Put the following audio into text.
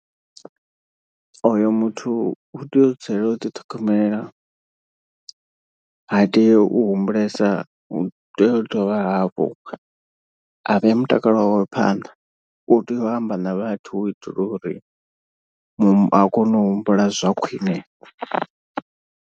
Oyo muthu u tea u dzulela u ḓiṱhogomela ha tei u humbulesa u tea u dovha hafhu a vhea mutakalo wawe phanḓa. U tea u amba na vhathu u itela uri a kone u humbula zwa khwine.